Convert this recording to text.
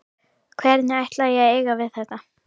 Hvernig ætla ég að eiga við þetta?